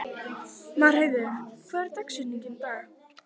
Marheiður, hvernig er dagskráin í dag?